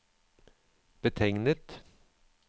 betegnet